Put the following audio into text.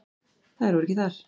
Þær voru ekki þar.